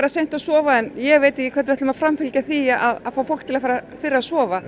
seint að sofa en ég veit ekki hvernig við ætlum að framfylgja því að fá fólk til að fara fyrr að sofa